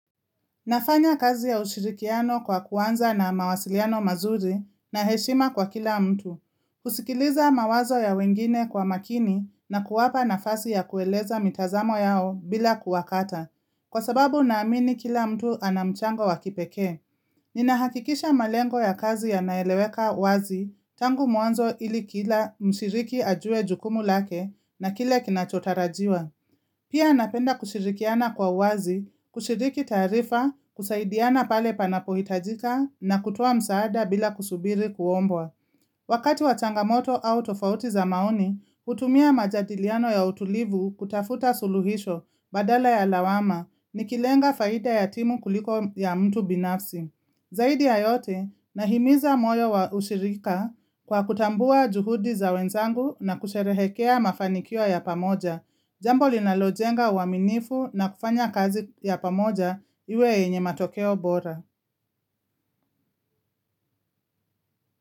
Nafanya kazi ya ushirikiano kwa kuanza na mawasiliano mazuri na heshima kwa kila mtu. Kusikiliza mawazo ya wengine kwa makini na kuwapa nafasi ya kueleza mitazamo yao bila kuwakata. Kwa sababu naamini kila mtu ana mchango wa kipekee. Ninahakikisha malengo ya kazi yanaeleweka wazi tangu mwanzo ili kila mshiriki ajue jukumu lake na kile kinachotarajiwa. Pia napenda kushirikiana kwa uwazi, kushiriki taarifa, kusaidiana pale panapohitajika na kutuoa msaada bila kusubiri kuombwa. Wakati wa changamoto au tofauti za maoni, hutumia majadiliano ya utulivu kutafuta suluhisho badala ya lawama nikilenga faida ya timu kuliko ya mtu binafsi. Zaidi ya yote, nahimiza moyo wa ushirika kwa kutambua juhudi za wenzangu na kusherehekea mafanikio ya pamoja. Jambo linalojenga uwaminifu na kufanya kazi ya pamoja iwe yenye matokeo bora.